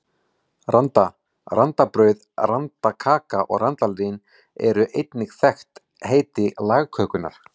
Randa, randabrauð, randakaka og randalín eru einnig þekkt heiti lagkökunnar.